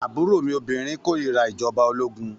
Àbúrò mi obìnrin kòrira ìjọba ológun.